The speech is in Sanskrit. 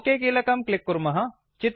ओक कीलकं क्लिक् कुर्मः